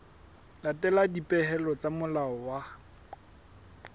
latela dipehelo tsa molao wa